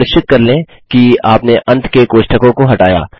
सुनिश्चित कर लें कि आपने अंत के कोष्टकों को हटाया